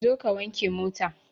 Zo ka wanke mota!